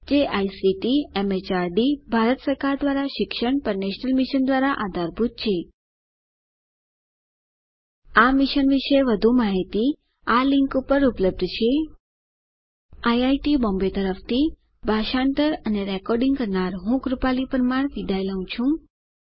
જે ICT MHRD Bharat સરકાર દ્વારા શિક્ષણ પર નેશનલ મિશન દ્વારા આધારભૂત છે આ મિશન વિશે વધુ માહીતી આ લીંક ઉપર ઉપલબ્ધ છે httpspoken tutorialorgNMEICT Intro IIT Bombay તરફથી ભાષાંતર કરનાર હું કૃપાલી પરમાર વિદાય લઉં છું